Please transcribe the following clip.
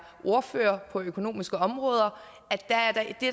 ordfører på det økonomiske område